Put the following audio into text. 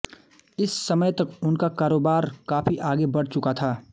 इस समय तक उनका कारोबार काफी आगे बढ़ चुका था